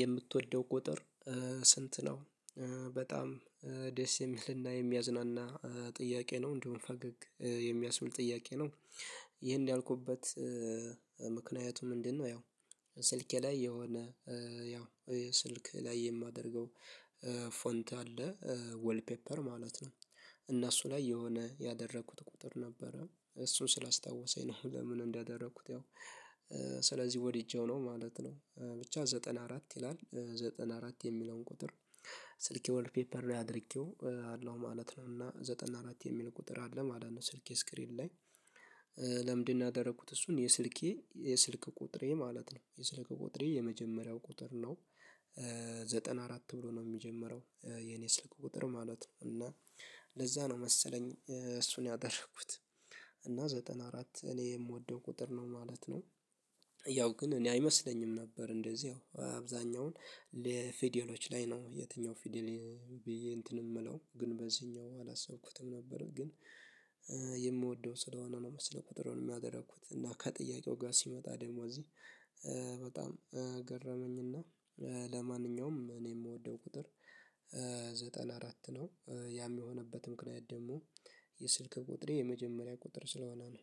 "የምትወደው ቁጥር ስንት ነው?" በጣም ደስ የሚልና የሚያዝናና ጥያቄ ነው፤ እንዲሁም ፈገግ የሚያስብል ጥያቄ ነው። ይሄን ያልኩበት ምክንያቱ ምንድነው? ያው ስልኬ ላይ የሆነ ያው ስልክ ላይ የማደርገው ፎንት አለ። ወልፔፐር ማለት ነው። እና እሱ ላይ የሆነ ያደረኩት ቁጥር ነበረ። እሱን ስላስታወሰኝ ነው። ለምን እንዳደረኩት ያው ስለዚህ ወድጄው ነው ማለት ነው። ብቻ ዘጠና አራት ይላል፤ ዘጠና አራት የሚለውን ቁጥር ስልኬ ዌልፔፐር ላይ አድርጌውአለው ማለት ነው። እና ዘጠና አራት የሚል ቁጥር አለ ማለት ነው ስልኬ ስክሪን ላይ። ለምንድነው ያደረኩት እሱን? የስልኬ የስልክ ቁጥሬ ማለት ነው የስልክ ቁጥሬ የመጀመሪያው ቁጥር ነው። ዘጠና አራት ብሎ ነው የሚጀምረው የኔ ስልክ ቁጥር ማለት ነው፤ እና ለዛ ነው መሰለኝ እሱን ያደረኩት። እና ዘጠና አራት እኔ የምወደው ቁጥር ነው ማለት ነው። ያው ግን እኔ አይመስለኝም ነበር እንደዚህ ያው አብዛኛውን ለፊደሎች ላይ ነው የትኛው ፊደል ብዬ እንትን የምለው፤ ግን በዚህኛው አላሰብኩትም ነበር፤ ግን የምወደው ስለሆነ ነው መሰለኝ ቁጥሩንም ያደረኩት እና ከጥያቄው ጋር ሲመጣ ደግሞ እዚህ በጣም ገረመኝና ለማንኛውም እኔ የምወደው ቁጥር ዘጠና አራት ነው። ያ የሆነበት ምክንያት ደግሞ የስልክ ቁጥሬ የመጀመሪያ ቁጥር ስለሆነ ነው።